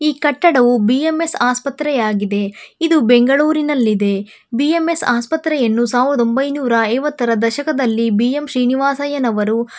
ಈ ಕಟ್ಟದವು ಬಿ_ಎಂ_ಎಸ್ ಆಸ್ಪತ್ರೆ ಆಗಿದೆ ಇದು ಬೆಂಗಳೂರಿನಲ್ಲಿದೆ ಬಿ_ಎಂ_ಎಸ್ ಆಸ್ಪತ್ರೆಯನ್ನು ಸಾವಿರದ ಎಂಬೈನುರಾ ಐವತ್ತರ ದಶಕದಲ್ಲಿ ಬಿ ಎಂ ಶ್ರೀನಿವಾಸಯ್ಯನವರು --